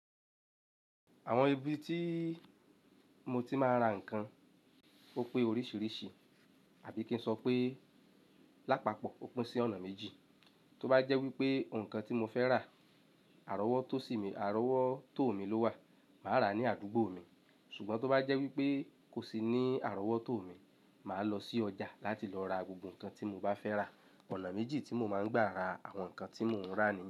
Àwọn ibi tí mo ti máa ń ra nǹkan ó pé oríṣìíríṣìí, àbí kí n sọ pé lápapọ̀ ó pín sí ọ̀nà méjì. Tóbá jẹ́ wípé ǹkan tí mo fẹ́ rà àrọ́wọ́tó sì mí, àrọ́wọ́tó mi ló wà, màá rà ní àdúgbò mi. Ṣùgbọ́n tó bá jẹ́ wípé kò sí ní àrọ́wọ́tó mi, màá lọ sí ọjà láti lọ ra gbogbo ǹkan tí mo bá fẹ́ rà. Ọ̀nà méjì tí mo máa ń gbà ra àwọn ǹkan tí mò ń rà ni.